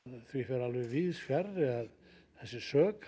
því fer alveg víðsfjarri að þessi sök